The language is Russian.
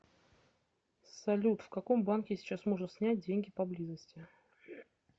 салют в каком банке сейчас можно снять деньги поблизости